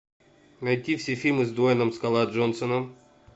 найти все фильмы с дуэйном скала джонсоном